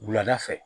Wulada fɛ